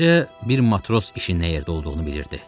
Təkcə bir matros işinin nə yerdə olduğunu bilirdi.